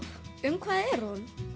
um hvað er hún